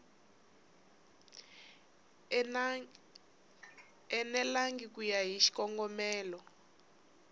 enelangi ku ya hi xikongomelo